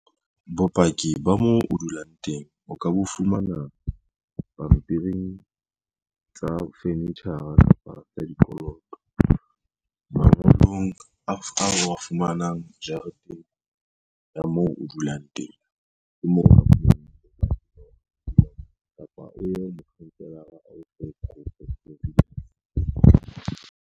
Bopaki ba mo o dulang teng, o ka bo fumana pampiring tsa furniture-ra kapa tsa dikoloto, mangolong a o wa fumanang jareteng ya moo o dulang teng .